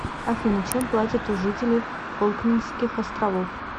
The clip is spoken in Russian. афина чем платят у жителей фолклендских островов